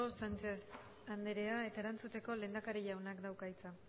sánchez andrea eta erantzuteko lehendakari jaunak dauka hitza